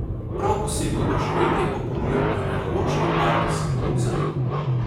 Prav posebno doživetje pa ponuja Arheološki park Simonov zaliv.